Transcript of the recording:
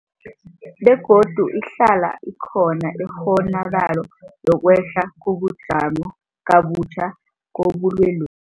Begodu ihlala ikhona ikghonakalo yokwehla kabutjha kobulwelobu.